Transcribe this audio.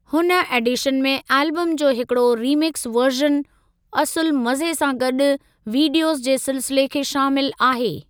हुन एडीशन में एलबम जो हिकड़ो रीमिक्सु वर्ज़न, असुलु मज़े सां गॾु विडीयोज़ जे सिलसिले खे शामिलु आहे।